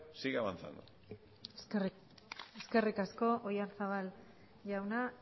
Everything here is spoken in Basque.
siga avanzando eskerrik asko oyarzabal jauna